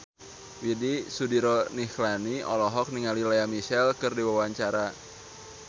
Widy Soediro Nichlany olohok ningali Lea Michele keur diwawancara